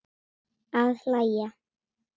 Að hlæja.